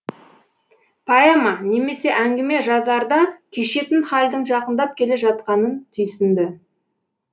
поэма немесе әңгіме жазарда кешетін хәлдің жақындап келе жатқанын түйсінді